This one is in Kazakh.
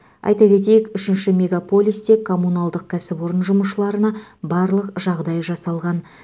айта кетейік үшінші мегаполисте коммуналдық кәсіпорын жұмысшыларына барлық жағдай жасалған